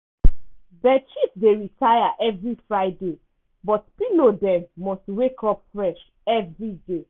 bedsheet dey retire evri friday but pillow dem must wake up fresh evriday.